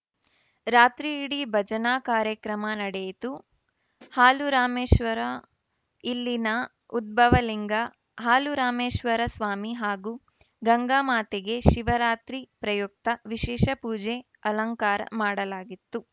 ರಾತ್ರಿ ಇಡೀ ಭಜನಾ ಕಾರ್ಯಕ್ರಮ ನಡೆಯಿತು ಹಾಲುರಾಮೇಶ್ವರ ಇಲ್ಲಿನ ಉದ್ಭವ ಲಿಂಗ ಹಾಲುರಾಮೇಶ್ವರ ಸ್ವಾಮಿ ಹಾಗೂ ಗಂಗಾ ಮಾತೆಗೆ ಶಿವರಾತ್ರಿ ಪ್ರಯುಕ್ತ ವಿಶೇಷ ಪೂಜೆ ಅಲಂಕಾರ ಮಾಡಲಾಗಿತ್ತು